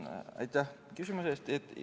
Aitäh küsimuse eest!